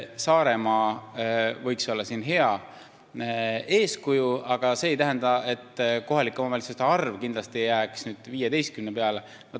Saaremaa võiks olla siin hea eeskuju, aga see ei tähenda, et kohalike omavalitsuste arv jääks kindlasti 15 peale.